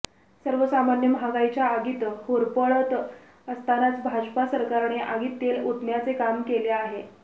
सर्वसामान्य महागाईच्या आगीत होरपळत असतानाच भाजपा सरकारने आगीत तेल आेतण्याचे काम केले आहे